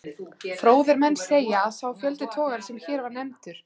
Fróðir menn segja, að sá fjöldi togara, sem hér var nefndur